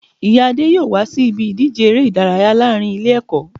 Ìyá Adé yóò wá sí ibi ìdíje eré ìdárayá láàrin Ilé èkó